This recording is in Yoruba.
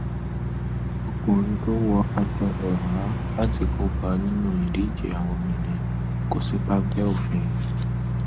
ọkùnrin tó wọ aṣọ ẹhà láti kópa nínú ìdíje àwọn obìnrin kò sí páńpẹ òfin